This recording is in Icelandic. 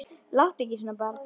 Láttu ekki svona barn.